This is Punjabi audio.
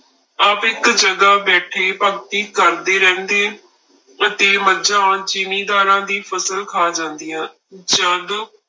ਆਪ ਇੱਕ ਜਗ੍ਹਾ ਬੈਠੇ ਭਗਤੀ ਕਰਦੇ ਰਹਿੰਦੇ ਅਤੇ ਮੱਝਾ ਜ਼ਿੰਮੀਦਾਰਾਂ ਦੀ ਫਸਲ ਖਾ ਜਾਂਦੀਆਂ ਜਦ